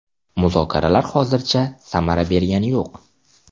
Muzokaralar hozircha samara bergani yo‘q.